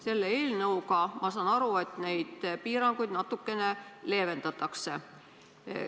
Selle eelnõuga, ma saan aru, neid piiranguid natukene leevendatakse.